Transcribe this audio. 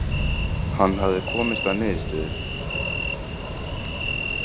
Hann hafði komist að niðurstöðu.